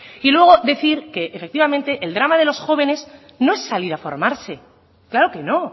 y luego decir que efectivamente el drama de los jóvenes no es salir a formarse claro que no